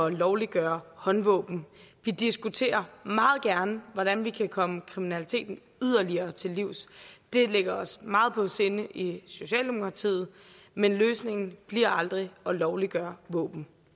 at lovliggøre håndvåben vi diskuterer meget gerne hvordan vi kan komme kriminaliteten yderligere til livs det ligger os meget på sinde i socialdemokratiet men løsningen bliver aldrig at lovliggøre våben